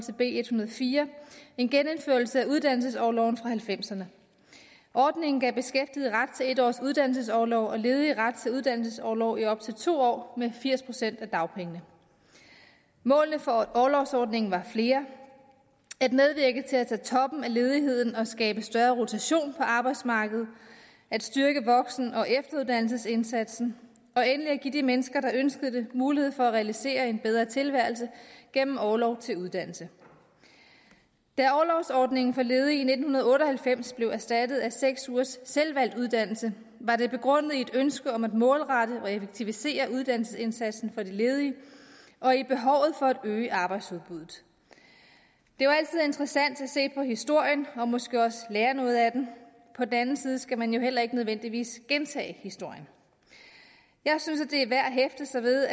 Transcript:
fire en genindførelse af uddannelsesorloven fra nitten halvfemserne ordningen gav beskæftigede ret til en års uddannelsesorlov og ledige ret til uddannelsesorlov i op til to år med firs procent af dagpengene målene for orlovsordningen var flere at medvirke til at tage toppen af ledigheden og skabe større rotation på arbejdsmarkedet at styrke voksen og efteruddannelsesindsatsen og endelig at give de mennesker der ønskede det mulighed for at realisere en bedre tilværelse gennem orlov til uddannelse da orlovsordningen for ledige i nitten otte og halvfems blev erstattet af seks ugers selvvalgt uddannelse var det begrundet i et ønske om at målrette og effektivisere uddannelsesindsatsen for de ledige og i behovet for at øge arbejdsudbuddet det er altid interessant at se på historien og måske også lære noget af den på den anden side skal man jo heller ikke nødvendigvis gentage historien jeg synes det er værd at hæfte sig ved